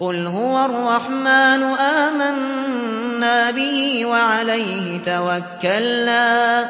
قُلْ هُوَ الرَّحْمَٰنُ آمَنَّا بِهِ وَعَلَيْهِ تَوَكَّلْنَا ۖ